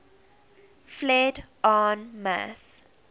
fled en masse